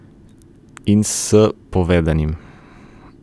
In s povedanim.